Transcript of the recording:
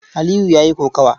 Aliyu ya yi kokawa.